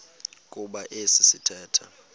kuba esi sithethe